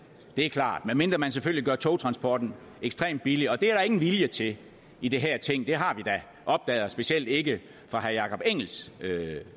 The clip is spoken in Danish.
er klart medmindre man selvfølgelig gør togtransporten ekstremt billig og det er der ingen vilje til i det her ting det har vi da opdaget og specielt ikke fra herre jakob